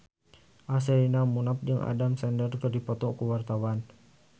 Sherina Munaf jeung Adam Sandler keur dipoto ku wartawan